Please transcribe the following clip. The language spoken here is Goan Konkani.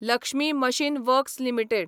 Lakshmi machine works limited